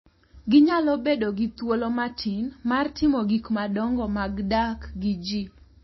Ginyalo bedo gi thuolo matin mar timo gik madongo mag dak gi ji .